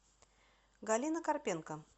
галина карпенко